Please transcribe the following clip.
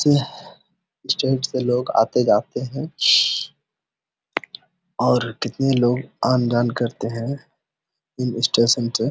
State से लोग-आते जाते है और कितने लोग आन-जान करते है इन स्टेशन से।